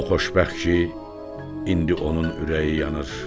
O xoşbəxtdir ki, indi onun ürəyi yanır.